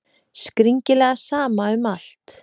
Skringilega sama um allt.